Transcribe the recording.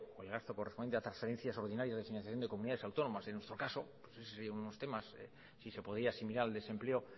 el gasto correspondiente a transferencias ordinarias de financiación de comunidades autónomas en nuestro caso esos serían unos temas si se podría asimilar al desempleo